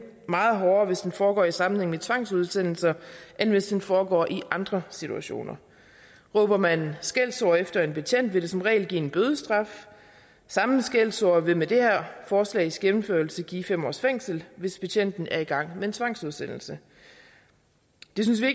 meget hårdere hvis den foregår i sammenhæng med tvangsudsendelser end hvis den foregår i andre situationer råber man skældsord efter en betjent vil det som regel give en bødestraf samme skældsord vil med det her forslags gennemførelse give fem års fængsel hvis betjenten er i gang med en tvangsudsendelse det synes vi